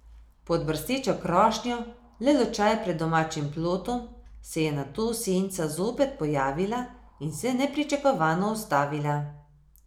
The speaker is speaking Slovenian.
Pod brstečo krošnjo, le lučaj pred domačim plotom, se je nato senca zopet pojavila in se nepričakovano ustavila.